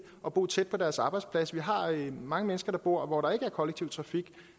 at bo tæt på deres arbejdsplads vi har mange mange mennesker der bor hvor der ikke er kollektiv trafik